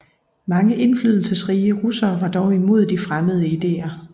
Mange indflydelsesrige russere var dog imod de fremmede idéer